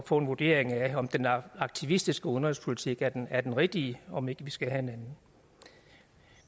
få en vurdering af om den aktivistiske udenrigspolitik er den er den rigtige om ikke vi skal have en anden